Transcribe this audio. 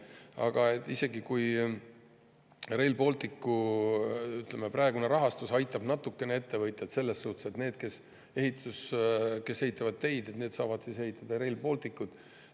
Aga isegi kui Rail Balticu praegune rahastus aitab natukene ettevõtjaid, selles mõttes, et need, kes ehitavad teid, saavad ehitada Rail Balticut …